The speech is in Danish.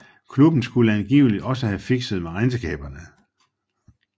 Klubben skulle angiveligt også have fikset med regnskaberne